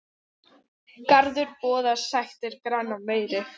Garður boðar sættir granna meiri.